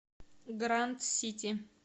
гранд сити